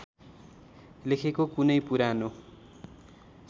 लेखेको कुनै पुरानो